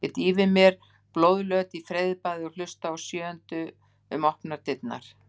Ég dýfi mér blóðlöt í freyðibaðið og hlusta á sjöundu um opnar dyr.